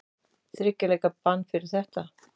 Þriggja leikja bann fyrir þetta?